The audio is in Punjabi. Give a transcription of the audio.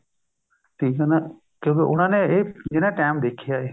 ਠੀਕ ਹੈ ਨਾ ਕਿਉਂਕਿ ਉਹਨਾ ਇਹ ਜਿਨ੍ਹਾਂ time ਦੇਖਿਆ ਹੈ